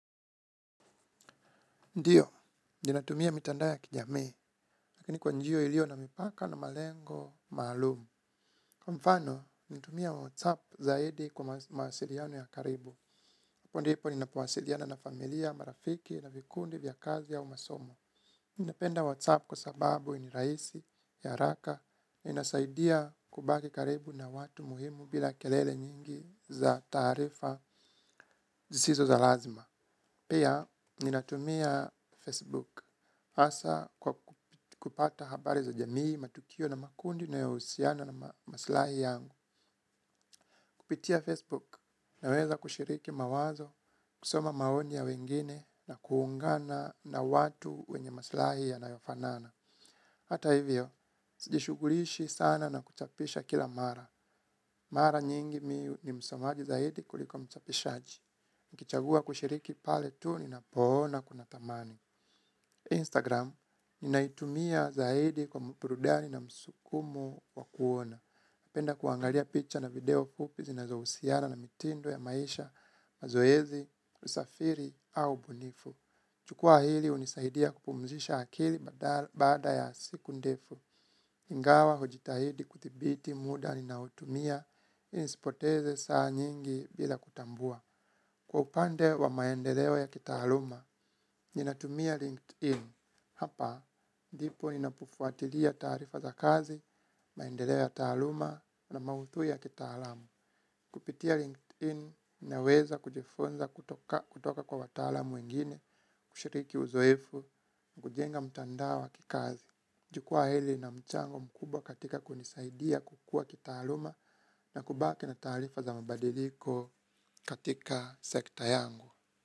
Ndiyo, ninatumia mitandao ya kijamii, lakini kwa njia iliyo na mipaka na malengo maalum. Kwa mfano natumia whatsapp zaidi kwa mawasiliano ya karibu. Hapo ndipo ninapowasiliana na familia, marafiki na vikundi vya kazi au masomo. Ninapenda WhatsApp kwa sababu ni rahisi ya haraka, inasaidia kubaki karibu na watu muhimu bila kelele nyingi za taarifa zisizo za lazima. Pia ninatumia facebook hasa kwa kupata habari za jamii, matukio na makundi nayohusiana na maslahi yangu. Kupitia Facebook, naweza kushiriki mawazo, kusoma maoi ya wengine na kuungana na watu wenye maslahi yanayofanana. Hata hivyo, sijishugulishi sana na kuchapisha kila mara. Mara nyingi mimi ni msomaji zaidi kuliko mchapishaji. Nikichagua kushiriki pale tu ninapoona kuna thamani instagram ninaitumia zaidi kwa burudani na msukumo wa kuona. Napenda kuangalia picha na video fupi zinazohusiana na mitindo ya maisha mazoezi, kusafiri au ubunifu. Jukwaa hili hunisaidia kupumzisha akili baada ya siku ndefu. Ingawa hujitahidi kuthibiti muda ninaotumia. Nisipoteze saa nyingi bila kutambua. Kwa upande wa maendeleo ya kitaaluma, ninatumia LinkedIn. Hapa, ndipo ninapofuatilia taarifa za kazi, maendeleo ya taaluma na maudhui ya kitaalamu. Kupitia LinkedIn naweza kujifunza kutoka kwa wataalam wengine, kushiriki uzoefu, kujenga mtandao wa kikazi. Jukwaa hili lina mchango mkubwa katika kunisaidia kukua kitaaluma na kubaki na taarifa za mabadiliko katika sekta yangu.